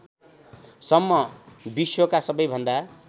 सम्म विश्वका सबैभन्दा